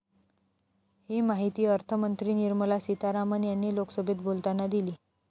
ही माहिती अर्थमंत्री निर्मला सितारमण यांनी लोकसभेत बोलताना दिली.